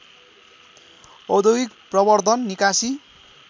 औद्योगिक प्रवर्दन निकासी